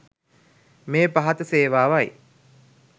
මේ පහත සේවාවයි.